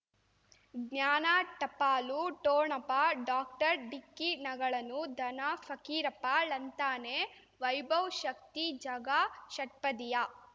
ಜ್ಞಾನ ಟಪಾಲು ಠೋಣಪ ಡಾಕ್ಟರ್ ಢಿಕ್ಕಿ ಣಗಳನು ಧನ ಫಕೀರಪ್ಪ ಳಂತಾನೆ ವೈಭವ್ ಶಕ್ತಿ ಝಗಾ ಷಟ್ಪದಿಯ